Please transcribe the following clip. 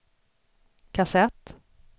kassett